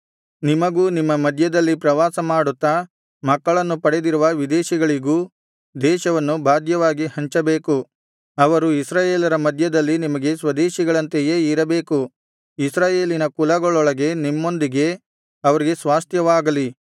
ನಿಮಗೂ ನಿಮ್ಮ ಮಧ್ಯದಲ್ಲಿ ಪ್ರವಾಸ ಮಾಡುತ್ತಾ ಮಕ್ಕಳನ್ನು ಪಡೆದಿರುವ ವಿದೇಶಿಗಳಿಗೂ ದೇಶವನ್ನು ಬಾಧ್ಯವಾಗಿ ಹಂಚಬೇಕು ಅವರು ಇಸ್ರಾಯೇಲರ ಮಧ್ಯದಲ್ಲಿ ನಿಮಗೆ ಸ್ವದೇಶಿಗಳಂತೆಯೇ ಇರಬೇಕು ಇಸ್ರಾಯೇಲಿನ ಕುಲಗಳೊಳಗೆ ನಿಮ್ಮೊಂದಿಗೆ ಅವರಿಗೆ ಸ್ವಾಸ್ತ್ಯವಾಗಲಿ